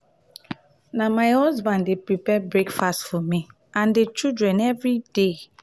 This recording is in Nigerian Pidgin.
na na my husband dey prepare breakfast for me and di children everyday.